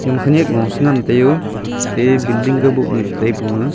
ema kha khanak lu sa ngan taiyoo aa building ka bu nu chata pon ma.